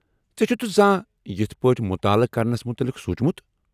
ژےٚ چُھتھہٕ زانٛہہ یتھہٕ پٲٹھۍ متطالعہٕ كرنس مُتعلق سوٗنچمُت ؟